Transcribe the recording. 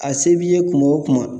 A se b'i ye kuma o kuma